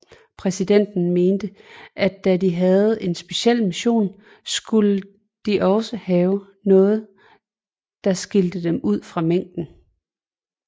Præsidenten mente at da de havde en speciel mission skulle de også have noget der skilte dem ud fra mængden